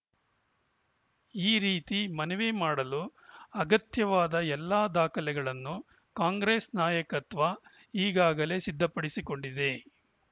ಈ ರೀತಿ ಮನವಿ ಮಾಡಲು ಅಗತ್ಯವಾದ ಎಲ್ಲಾ ದಾಖಲೆಗಳನ್ನು ಕಾಂಗ್ರೆಸ್‌ ನಾಯಕತ್ವ ಈಗಾಗಲೇ ಸಿದ್ಧಪಡಿಸಿಕೊಂಡಿದೆ